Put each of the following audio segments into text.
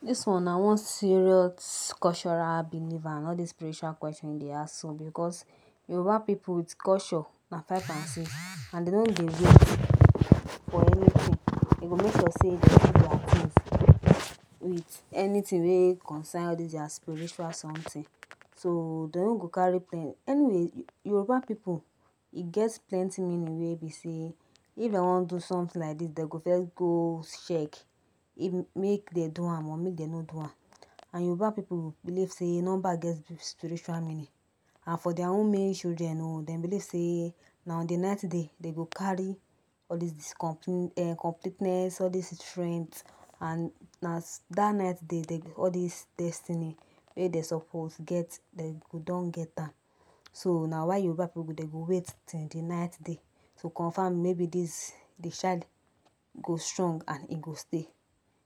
This one na one serious cultural belief and all this spiritual questions wey you dey ask so because Yoruba people with culture na five and six and dey no dey wait for anything dem go make sure say dem do their things with anything wey concern all those their spiritual something so dem no go carry any way Yoruba people e get plenty meaning wey be say if dem wan do something like this dem go first go check make dem do am or make dem no do am and Yoruba people believe say number get spiritual meanings and for their own male children own dem believe say na on the ninth day dem go carry all this comple ten ess this strength and na that ninth day dem go all this destiny wey dem suppose get dem go don get am so na why Yoruba people dem go wait till the ninth day to confirm maybe this the child go strong and e go stay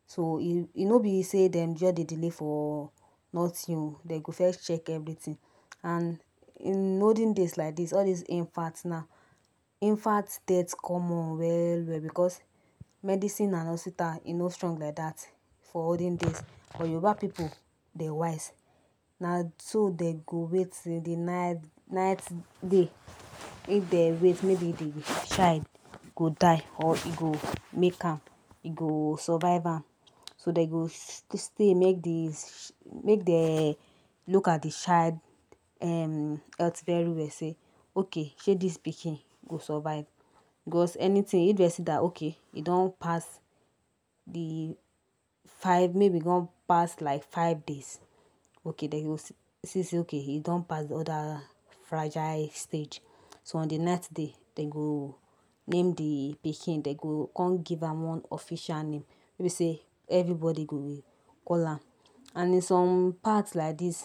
so e no be say dey just dey delay for nothing oo dem go first check everything and in olden days like this all this infant now infant death common well well because medicine and hospital e no strong like that for olden days but Yoruba people dem wise na so dem go wait till the ninth day if dem wait maybe the child go die or e go make am e go survive am so dem go stay make the make dem look at the child um health very well say okay shey this pikin go survive because anything if dem see that okay e don pass the five maybe e don pass like five days okay dem go see say e don pass all that fragile stage so on the ninth day dem go name the pikin dem go come give am one official name wey be say everybody go dey call am and in some part like this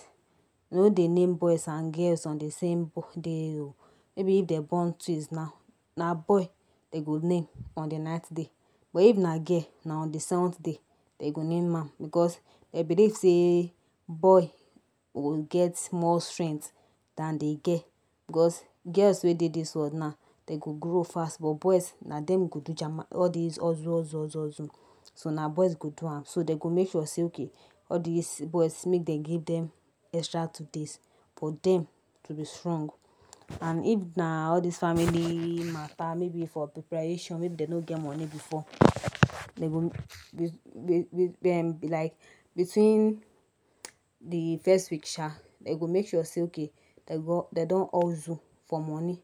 dem no dey name boys and girls on the same day oo maybe if dem born twins now na boy dem go name in the ninth day but if na girl na in the seventh day dem go name am because dem believe say boy go get more strength than the girl because girls wey dey this world now dem go grow fast but boys now na dem go go jam all this ozuo so na boys go do am do dem go make sure say all this boys make dem give dem extra two days for dem to be strong and if na all this family matter maybe for preparation maybe dem no get money before dem go dem dey like between the first week sha dem go make sure dem don hustle for money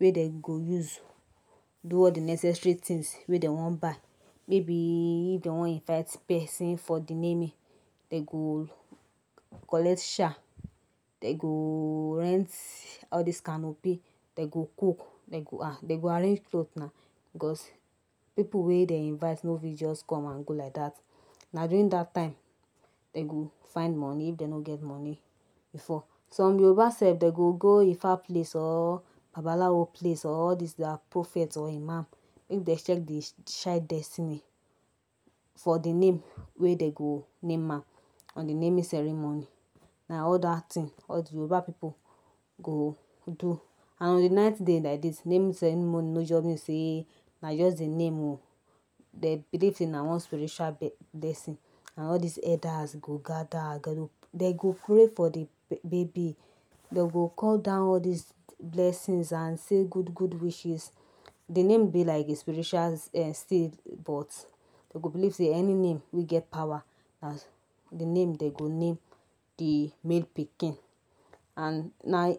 wey dem go use do all the necessary things wey dem wan buy maybe if dem wan invite person for the naming dem go collect chair dem go rent all this canopy dem go cook dem go arrange clothe na because people wey dem invite no fit just come and go like that because na during that time dem go find money if dem no get money before some Yoruba sef dem go go ifa place or babalawo place or prophet or imam make check the child destiny for the name wey dem go name am um the naming ceremony na all that thing all the Yoruba people go do and on the ninth day like day naming ceremony no just mean say na just the name oo dem believe say na one spiritual blessing and all this elders go gather dem go pray for the baby dem go call down all this blessings and say good good wishes de name be like all this spiritual steel pot dem go believe say any name wey get power as the name dem go name the make pikin and na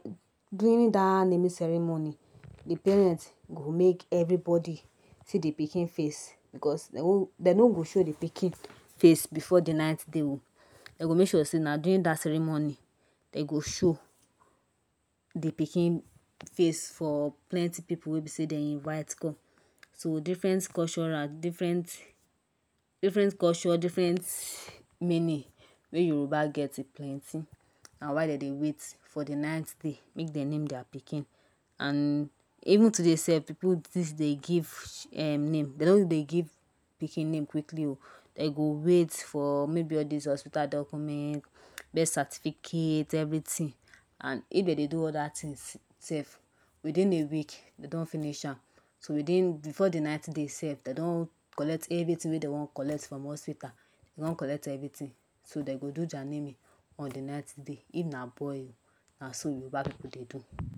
during that naming ceremony the parent go make everybody see the pikin face because dem no go show the pikin face before the ninth day oo dem go make sure say na during that ceremony dem go show the pikin face for plenty people wey be say dem invite come so different culture different different culture different meanings wey Yoruba get e plenty na why dem dey wait for the ninth day make dem name their pikin and even today sef people still dey give um name dem no dey give pikin name quickly oo dem go wait for maybe all this hospital documents birth certificate everything and if dem dey do other things sef within a week dem don finish am so before the ninth day dem don Collect wetin dey wan collect from hospital dem don collect everything so dem go do child name on the ninth day if na boy na so Yoruba people dey do